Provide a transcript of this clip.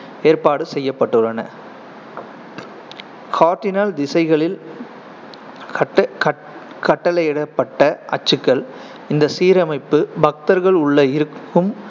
ஏற்பாடு செய்யப்பட்டுள்ள கார்டினல் திசைகளில் கட்ட~ கட்~ கட்டளையிடப்பட்ட அச்சுக்கள் இந்த சீரமைப்பு, பக்தர்கள் உள்ளே இருக்கும்